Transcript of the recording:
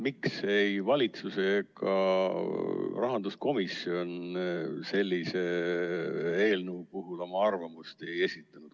Miks ei valitsus ega rahanduskomisjon sellise eelnõu puhul oma arvamust ei esitanud?